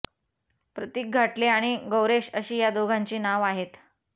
प्रतीक घाटले आणि गौरेश अशी या दोघांची नाव आहेत